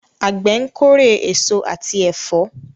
Àgbẹ̀ ń kórè èso àti ẹ̀fọ́.